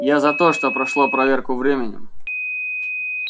я за то что прошло проверку временем